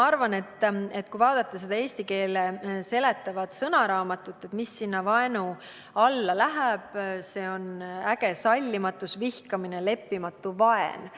Kui vaadata eesti keele seletavast sõnaraamatust järele, mis vaenu mõiste alla kuulub, siis on näha, et tegemist on ägeda sallimatuse, vihkamise, leppimatu vaenuga.